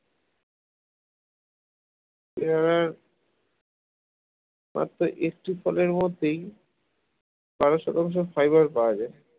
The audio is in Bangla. পেয়ারার মাত্র একটি ফলের মধ্যেই বারশ তেরোশ ফাইবার পাওয়া যায়